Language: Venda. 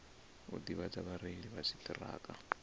u ḓivhadza vhareili vha dziṱhirakha